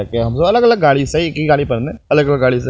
हम सब अलग-अलग गाड़ी से इ गाड़ी पर ने अलग-अलग गाड़ी से --